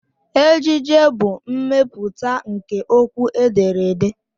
Ejije bụ mmepụta nke okwu edere ede.